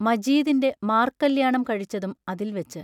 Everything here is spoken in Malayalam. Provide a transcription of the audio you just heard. മജീദിന്റെ മാർക്കല്യാണം കഴിച്ചതും അതിൽ വെച്ച്.